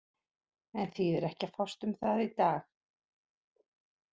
En þýðir ekki að fást um það í dag.